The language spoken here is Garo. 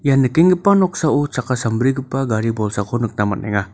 ia nikenggipa noksao chakka sambrigipa gari bolsako nikna man·enga.